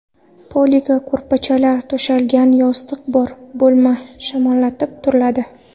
Poliga ko‘rpachalar to‘shalgan, yostiq bor, bo‘lma shamollatilib turiladi.